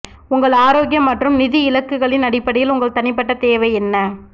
உங்கள் ஆரோக்கியம் மற்றும் நிதி இலக்குகளின் அடிப்படையில் உங்கள் தனிப்பட்ட தேவை என்ன